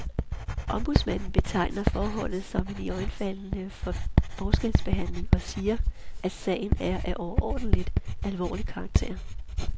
Ombudsmanden betegner forholdet som en iøjnefaldende forskelsbehandling og siger, at sagen er af overordentligt alvorlig karakter.